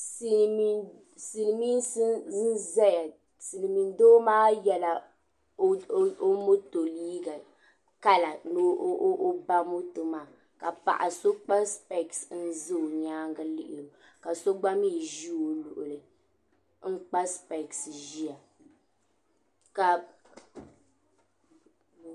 Silimiinsi n zaya Silimiin doo maa yela o moto liiga kala ni o ba moto maa ka paɣa so kpa sipesi ka ʒi nyaanga lihiri o ma so gba mee ʒi o luɣuli n kpa sipesi ʒia ka.